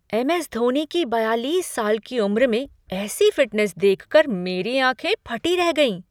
M S Dhoni की बयालीस साल की उम्र में ऐसी फ़िटनेस देखकर मेरी आँखें फटी रह गईं।